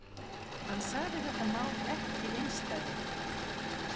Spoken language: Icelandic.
Hann sagði þetta mál ekki einsdæmi